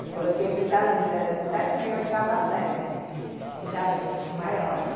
Eu coloquei para os alunos, era de sétima e oitava série né, os alunos maiores.